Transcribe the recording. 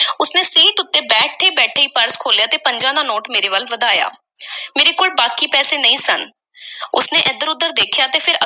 Seat ਉੱਤੇ ਬੈਠੇ-ਬੈਠੇ ਈ purse ਖੋਲ੍ਹਿਆ ਤੇ ਪੰਜਾਂ ਦਾ ਨੋਟ ਮੇਰੇ ਵੱਲ ਵਧਾਇਆ। ਮੇਰੇ ਕੋਲ ਬਾਕੀ ਪੈਸੇ ਨਹੀਂ ਸਨ। ਉਸ ਨੇ ਇੱਧਰ-ਉੱਧਰ ਦੇਖਿਆ ਤੇ ਫਿਰ